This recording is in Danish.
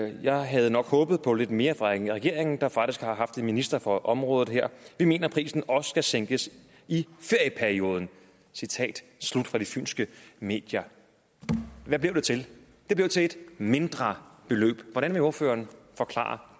jeg havde nok håbet på lidt mere fra regeringen der faktisk har haft en minister på området her vi mener at prisen også skal sænkes i ferieperioden citat slut fra de fynske medier hvad blev det til det blev til et mindre beløb hvordan kan ordføreren forklare